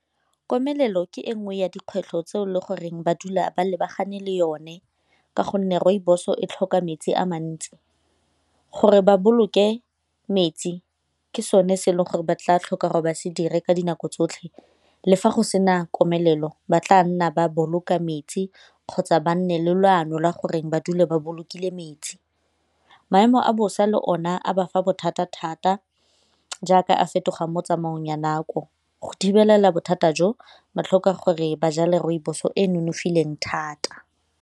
Komelelo ke e nngwe ya dikgwetlho tse e le goreng ba dula ba lebagane le yone ka gonne rooibos-o e tlhoka metsi a mantsi. Gore ba boloke metsi ke sone se e leng gore ba tla tlhoka gore ba se dire ka dinako tsotlhe le fa go sena komelelo ba tla nna ba boloka metsi kgotsa ba nne le leano la gore ba dule ba bolokile metsi. Maemo a bosa le one a ba fa bothata thata jaaka a fetogang mo tsamaong ya nako go thibelela bothata jo botlhokwa gore ba jale rooibos-o e e nonofileng thata.